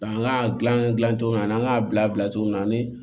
An ka gilan dilan cogo min ani an k'a bila cogo min na ani